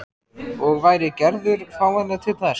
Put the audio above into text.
Og væri Gerður fáanleg til þess?